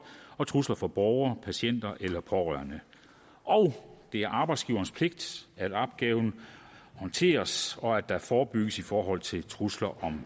og trusler fra borgere patienter og pårørende og det er arbejdsgiverens pligt at opgaven håndteres og at der forebygges i forhold til trusler